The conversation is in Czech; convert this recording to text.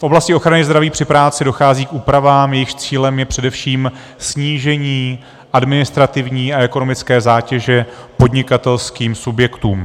V oblasti ochrany zdraví při práci dochází k úpravám, jejichž cílem je především snížení administrativní a ekonomické zátěže podnikatelským subjektům.